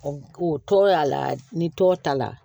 O tɔgɔ y'a la ni tɔ ta la